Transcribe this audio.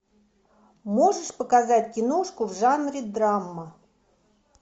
можешь показать киношку в жанре драма